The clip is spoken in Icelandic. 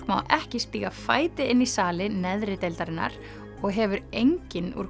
má ekki stíga fæti inn í sali neðri deildarinnar og hefur enginn úr